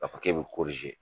K'a fɔ k'e b'o